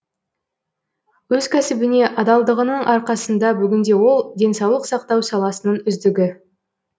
өз кәсібіне адалдығының арқасында бүгінде ол денсаулық сақтау саласының үздігі